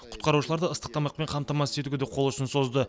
құтқарушыларды ыстық тамақпен қамтамасыз етуге де қол ұшын созды